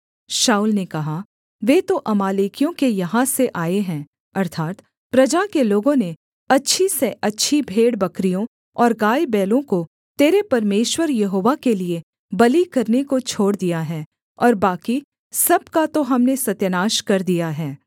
शाऊल ने कहा वे तो अमालेकियों के यहाँ से आए हैं अर्थात् प्रजा के लोगों ने अच्छी से अच्छी भेड़बकरियों और गायबैलों को तेरे परमेश्वर यहोवा के लिये बलि करने को छोड़ दिया है और बाकी सब का तो हमने सत्यानाश कर दिया है